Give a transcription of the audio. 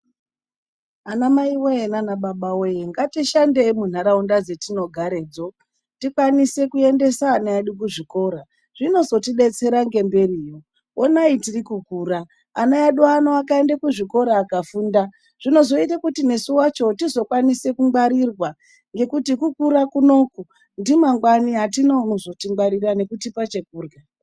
ANAMAIWEE NANABABAWEE NGATISHANDEI MUNHARAUNDA DZETINOGAREDZO. TIKWANISE KUENDESA ANA EDU KUZVIKORA. ZVINOZOTIBETSERA NGEMBERIYO. HONAI TIRIKUKURA ANA EDU ANO AKAENDA KUCHIKORA AKAFUNDA ZVINOZOITA KUTI NESU WACHO TIZOKWANISE KUNGWARIRWA, NGEKUTI KUKURA KUNO UKU NDIMANGWAI ATINA UNOZOTINGWARIRA NEKUTIPA CHEKURYA.